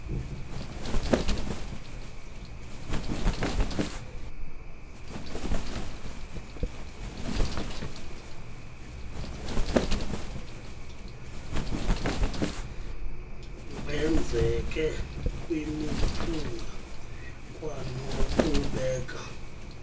wenzeke kwimiphunga kwanokubeka